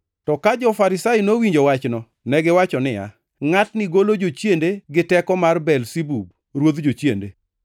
To ka jo-Farisai nowinjo wachno, negiwacho niya, “Ngʼatni golo jochiende gi teko mar Belzebub, ruodh jochiende.”